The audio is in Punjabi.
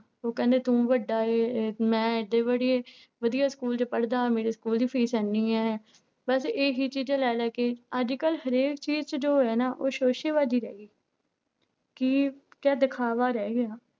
ਉਹ ਕਹਿੰਦੇ ਤੂੰ ਵੱਡਾ ਹੈ ਮੈਂ ਇੱਥੇ ਪੜ੍ਹੀ, ਵਧੀਆ ਸਕੂਲ ਚ ਪੜ੍ਹਦਾ ਹਾਂ ਮੇਰੇ ਸਕੂਲ ਦੀ ਫ਼ੀਸ ਇੰਨੀ ਹੈ ਬਸ ਇਹੀ ਚੀਜ਼ਾਂ ਲੈ ਲੈ ਕੇ ਅੱਜ ਕੱਲ੍ਹ ਹਰੇਕ ਚੀਜ਼ ਚ ਜੋ ਹੋਇਆ ਨਾ ਉਹ ਸੋਸੇਬਾਜ਼ੀ ਰਹਿ ਗਈ ਕਿ ਕਿਆ ਦਿਖਾਵਾ ਰਹਿ ਗਿਆ।